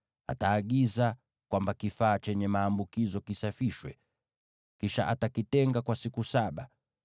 ataagiza kwamba kifaa chenye maambukizo kisafishwe. Kisha atakitenga kwa siku saba.